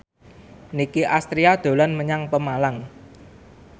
Nicky Astria dolan menyang Pemalang